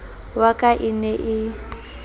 wa ka e ne e